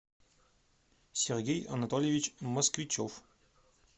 сергей анатольевич москвичев